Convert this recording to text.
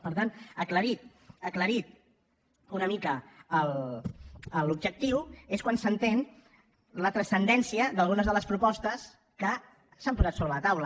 per tant aclarit aclarit una mica l’objectiu és quan s’entén la transcendència d’algunes de les propostes que s’han posat sobre la taula